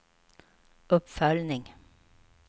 uppföljning